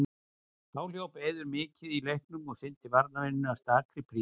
Þá hljóp Eiður mikið í leiknum og sinnti varnarvinnunni af stakri prýði.